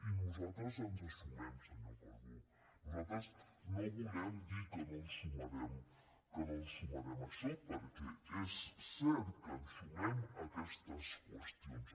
i nosaltres ens hi sumem senyor calbó nosaltres no volem dir que no ens sumarem a això perquè és cert que ens sumem a aquestes qüestions